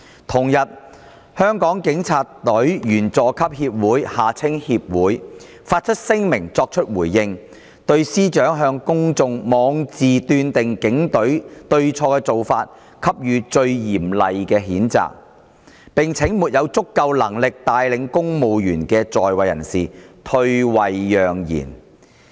同日，香港警察隊員佐級協會發出聲明作回應，對司長向公眾妄自斷定警隊對錯的做法"給予最嚴厲的譴責"，並請沒有足夠能力帶領公務員的在位人士退位讓賢。